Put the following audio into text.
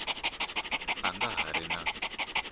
a nga ha ri na